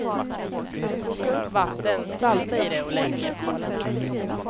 Koka upp vatten, salta i det och lägg ner kålen.